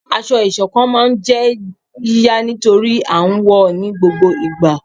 aṣọ-isọ̀kán ma n jé yíyá nitori a n wọ ní gbógbó ìgbà